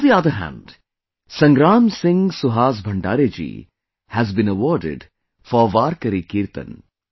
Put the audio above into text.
On the other hand, Sangram Singh Suhas Bhandare ji has been awarded for Warkari Kirtan